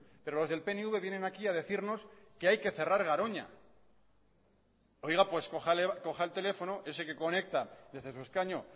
pero los del pnv vienen aquí a decirnos que hay que cerrar garoña oiga pues coja el teléfono ese que conecta desde su escaño